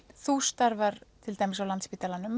þú starfar til dæmis á